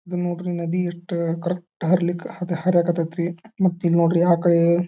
ಇದನ್ ನೋಡ್ರಿ ನದಿ ಎಷ್ಟು ಕರೆಕ್ಟ್ ಹರಿಲಿಕ್ ಹದ ಹರ್ಯಾಕತೇತಿ ರೀ ಮತ್ ಇಲ್ಲಿ ನೋಡ್ರಿ